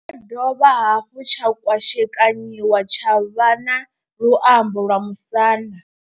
Tshi ya dovha hafhu tsha kwashekanyiwa tsha vha na luambo lwa musanda.